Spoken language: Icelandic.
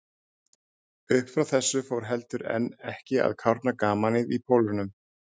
Uppfrá þessu fór heldur en ekki að kárna gamanið í Pólunum.